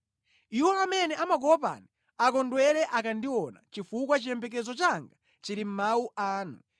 Iwo amene amakuopani akondwere akandiona, chifukwa chiyembekezo changa chili mʼmawu anu.